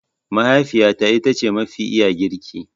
Mahaifiyata ita ce mafi iya girki.